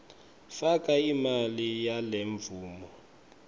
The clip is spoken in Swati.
faka imali yalemvumo